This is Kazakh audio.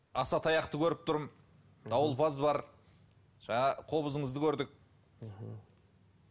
аса таяқты көріп тұрмын дауылпаз бар жаңа қобызыңызды көрдік мхм